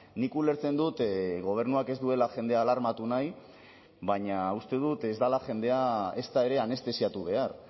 nik ulertzen dut gobernuak ez duela jendea alarmatu nahi baina uste dut ez dela jendea ezta ere anestesiatu behar